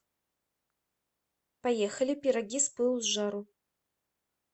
поехали пироги с пылу с жару